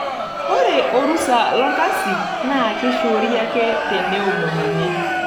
Ore orusa lolkasi naa keishoori ake teneomonuni.